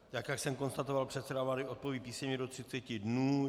Tak jak jsem konstatoval, předseda vlády odpoví písemně do 30 dnů.